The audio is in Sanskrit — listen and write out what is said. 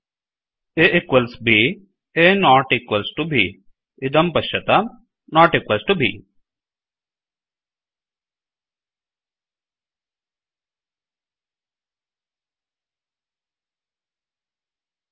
A equals b A not equal to b इदं पश्यताम् नोट् इक्वल् टु ब्